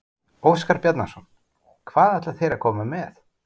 Óskar Bjarnason: Hvað ætla þeir að koma með?